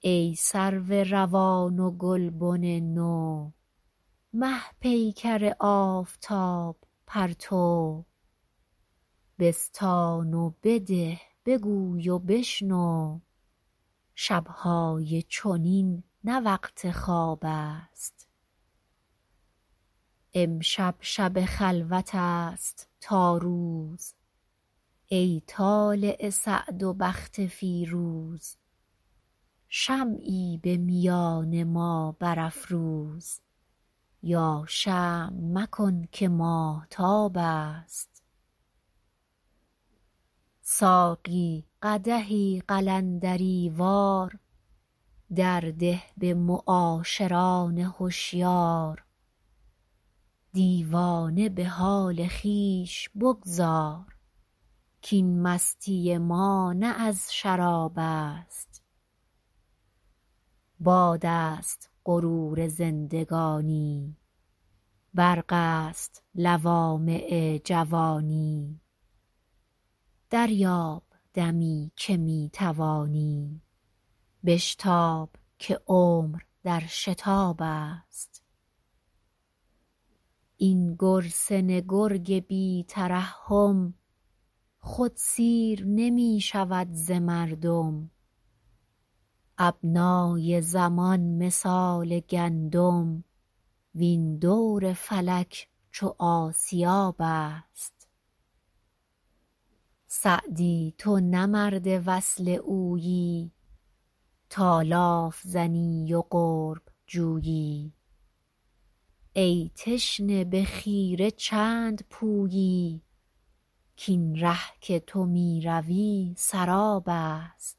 ای سرو روان و گلبن نو مه پیکر آفتاب پرتو بستان و بده بگوی و بشنو شب های چنین نه وقت خواب است امشب شب خلوت است تا روز ای طالع سعد و بخت فیروز شمعی به میان ما برافروز یا شمع مکن که ماهتاب است ساقی قدحی قلندری وار در ده به معاشران هشیار دیوانه به حال خویش بگذار کاین مستی ما نه از شراب است باد است غرور زندگانی برق است لوامع جوانی دریاب دمی که می توانی بشتاب که عمر در شتاب است این گرسنه گرگ بی ترحم خود سیر نمی شود ز مردم ابنای زمان مثال گندم وین دور فلک چو آسیاب است سعدی تو نه مرد وصل اویی تا لاف زنی و قرب جویی ای تشنه به خیره چند پویی کاین ره که تو می روی سراب است